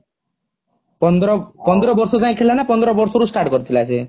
ପନ୍ଦର ବର୍ଷ ଯାଏ ଖେଳିଲା ନା ପନ୍ଦର ବର୍ଷ ରୁ start କରିଥିଲା ସିଏ